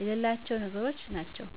የሌላቸው ነገሮች ናቸው